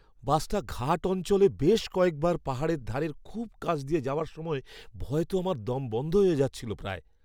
বাসটা ঘাট অঞ্চলে বেশ কয়েকবার পাহাড়ের ধারের খুব কাছ দিয়ে যাওয়ার সময় ভয়ে তো আমার দম বন্ধ হয়ে যাচ্ছিল প্রায়।